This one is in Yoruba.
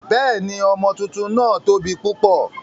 Bẹ́ẹ̀ni, ọmọ tuntun náà tóbi púpọ̀.